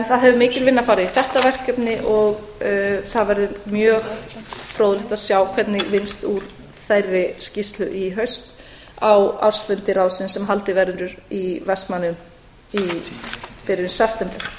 það hefur mikil vinna farið í þetta verkefni og það verður mjög fróðlegt að sjá hvernig vinnst úr þeirri skýrslu í haust á ársfundi ráðsins sem haldinn verður í vestmannaeyjum í